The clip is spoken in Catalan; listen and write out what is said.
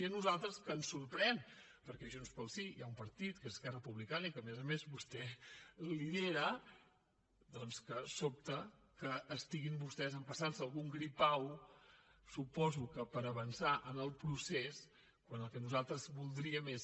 i a nosaltres ens sorprèn perquè a junts pel sí hi ha un partit que és esquerra republicana i que a més a més vostè lidera doncs que sobta que estiguin vostès empassant se algun gripau suposo que per avançar en el procés quan el que nosaltres voldríem és